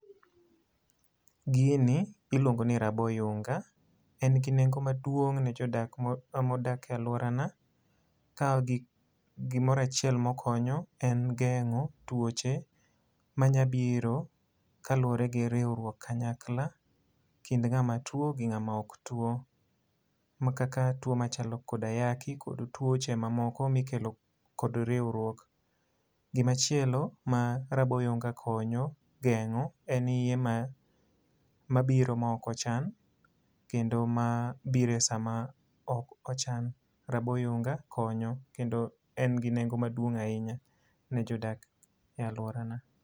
Gini iluongo ni raboyunga. En gi nengo maduong' ne jodak mo modak e alworana. Ka gik gimoro achiel ma okonyo en gengó twoche manyabiro kaluwore gi riwruok kanyakla kind ngáma two gi ngáma ok two. Ma kaka two machalo kod ayaki kod twoche ma moko mikelo kod riwruok. Gimachielo ma rabo oyunga konyo gengó en iye ma mabiro ma ok ochan. Kendo ma biro e sama ok ochan. Rabo oyunga konyo kendo en gi nengo maduong' ahinya ne jodak e alworana.